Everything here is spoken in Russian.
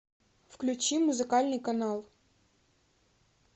включи музыкальный канал